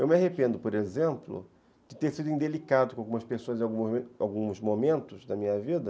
Eu me arrependo, por exemplo, de ter sido indelicado com algumas pessoas em alguns alguns momentos da minha vida.